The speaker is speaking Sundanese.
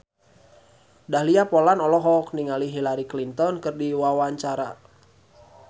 Dahlia Poland olohok ningali Hillary Clinton keur diwawancara